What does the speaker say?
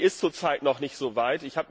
Sie ist zurzeit noch nicht so weit.